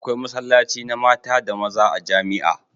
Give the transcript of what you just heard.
Akwai masallaci na mata da maza a jamia